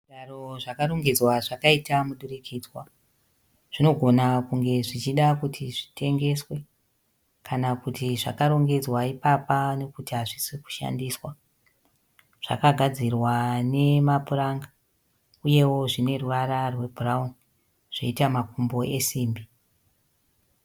Zvigaro zvakarongedzwa zvakaita mudurikidzwa zvinogona kunge zvichida kuti zvitengeswe kana kuti zvakarongedzwa ipapa nekuti hazvisi kushandiswa, zvakagadzirwa nemapuranga uyewo zvine ruvara rwebhurauni zvoita makumbo esimbi.